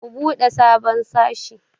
Ku buɗe sabon sashe.